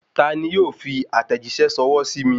Ta ni yóò fi àtẹ̀jíṣẹ́ ṣọwọ́ sí mi